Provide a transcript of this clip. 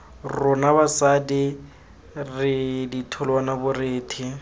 rona basadi re ditholwana borethe